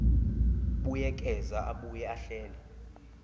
buyekeza abuye ahlele